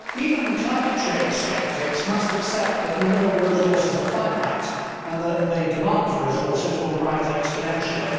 Mr President, even climate change sceptics must accept that mineral resources are finite and that the demand for resources will rise exponentially.